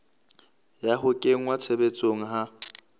ya ho kenngwa tshebetsong ha